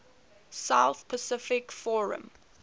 south pacific forum